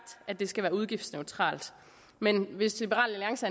at det skal være udgiftsneutralt men hvis liberal alliance